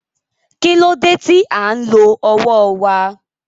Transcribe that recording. Kí ló dé tí à ń lo ọwọ́ wa?